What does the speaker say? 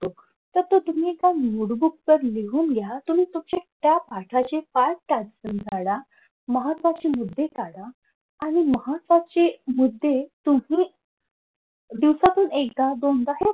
तर तुम्ही एका नोटबूकवर लिहून घ्या तुम्ही तुमचे त्या पाठाचे पाठ वाचून काढा. महत्वाचे मुद्दे काढा आणि महत्वाचे मुद्दे तुम्ही दिवसातून एकदा दोनदा